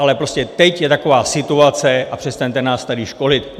Ale prostě teď je taková situace a přestaňte nás tady školit.